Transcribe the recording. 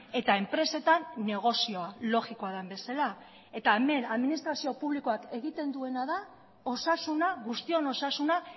eta enpresetan negozioa logikoa den bezala eta hemen administrazio publikoak egiten duena da osasuna guztion osasuna